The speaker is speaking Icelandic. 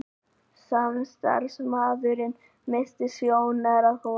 Samstarfsmaðurinn missti sjónar af honum.